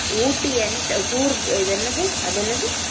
எனக்கு வந்துட்டு ஊட்டி Entrance அது என்னது குர்க் அது என்னது